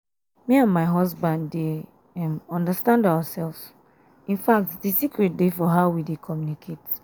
me and my husband dey um understand ourselves infact um the secret dey for how we dey communicate